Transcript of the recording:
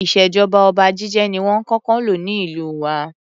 Ìṣèjọba oba jíjẹ ni wón kókó ń lò ní ìlú wa.